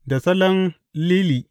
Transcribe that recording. Da salon Lili.